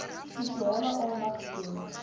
spesiale aandag skenk